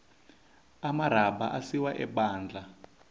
amarhabha asiwa ebandla